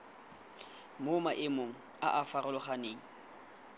mo maemong a a farologaneng